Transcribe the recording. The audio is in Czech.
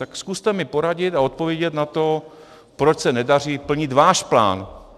Tak zkuste mi poradit a odpovědět na to, proč se nedaří plnit váš plán.